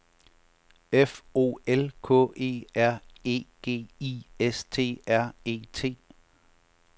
F O L K E R E G I S T R E T